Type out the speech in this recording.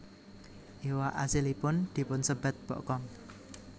Iwak asilipun dipunsebat bokkom